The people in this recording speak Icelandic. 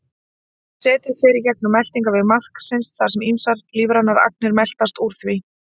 Setið fer í gegnum meltingarveg maðksins þar sem ýmsar lífrænar agnir meltast úr því.